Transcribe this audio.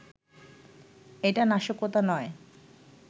এটা নাশকতা নয়